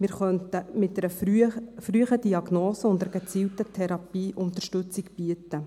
Wir könnten mit einer frühen Diagnose und Therapie Unterstützung bieten.